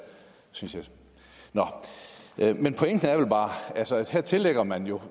synes jeg nå men pointen er vel bare at her tillægger man jo